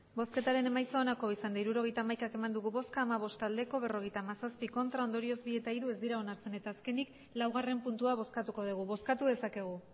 hirurogeita hamaika eman dugu bozka hamabost bai berrogeita hamazazpi ez ondorioz bi eta hiru ez dira onartzen eta azkenik laugarren puntua bozkatuko dugu bozkatu dezakegu